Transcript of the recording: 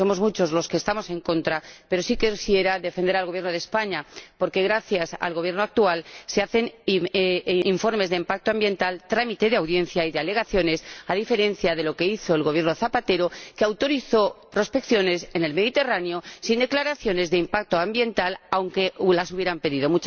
Somos muchos los que estamos en contra, pero sí quisiera defender al Gobierno de España, porque gracias al Gobierno actual se elaboran informes de impacto ambiental, trámite de audiencia y de alegaciones, a diferencia de lo que hizo el Gobierno Zapatero, que autorizó prospecciones en el Mediterráneo sin declaraciones de impacto ambiental, aunque las hubieran pedido.